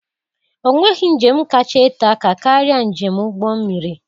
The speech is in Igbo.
Onweghi njem kacha ete aka karịa njem ụgbọ mmiri.